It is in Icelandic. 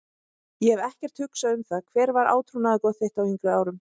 Ég hef ekkert hugsað um það Hver var átrúnaðargoð þitt á yngri árum?